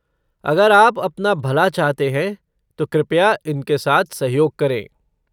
अगर आप अपना भला चाहते हैं, तो कृपया उनके साथ सहयोग करें।